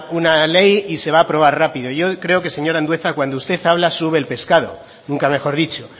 una ley y se va a aprobar rápido yo creo que señor andueza cuando usted habla sube el pescado nunca mejor dicho